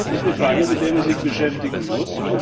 Das ist eine Frage, mit der man sich beschäftigen muss.